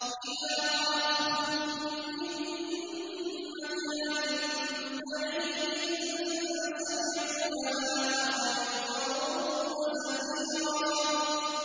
إِذَا رَأَتْهُم مِّن مَّكَانٍ بَعِيدٍ سَمِعُوا لَهَا تَغَيُّظًا وَزَفِيرًا